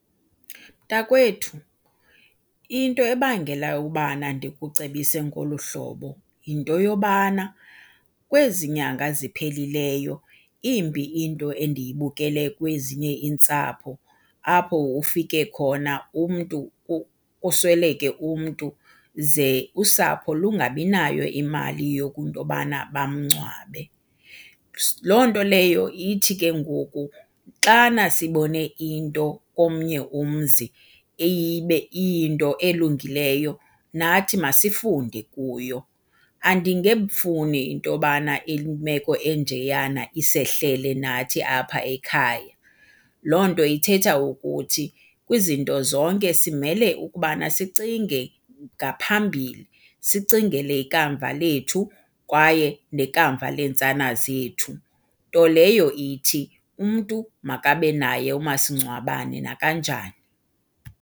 Mntakwethu, into ebangela ubana ndikucebise ngolu hlobo yinto yobana kwezi nyanga zipheleleyo imbi into endiyibukele kwezinye iintsapho apho ufike khona umntu kusweleke umntu, ze usapho lungabinayo imali yokunto yobana bamngcwabe. Loo nto leyo ithi ke ngoku xana sibone into komnye umzi ibe iyinto elungileyo, nathi masifunde kuyo. Andingefuni into yobana imeko enjeyana isehlele nathi apha ekhaya. Loo nto ithetha ukuthi kwizinto zonke simele ukubana sicinge ngaphambili, sicingele ikamva lethu, kwaye nekamva leentsana zethu, nto leyo ithi umntu makabe naye umasingcwabane nakanjani.